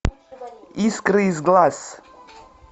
искры из глаз